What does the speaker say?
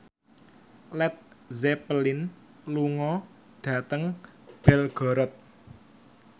Led Zeppelin lunga dhateng Belgorod